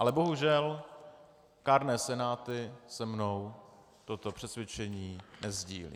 Ale bohužel kárné senáty se mnou toto přesvědčení nesdílejí.